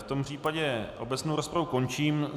V tom případě obecnou rozpravu končím.